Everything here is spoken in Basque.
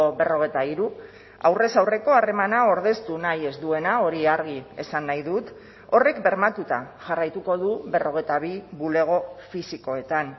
berrogeita hiru aurrez aurreko harremana ordeztu nahi ez duena hori argi esan nahi dut horrek bermatuta jarraituko du berrogeita bi bulego fisikoetan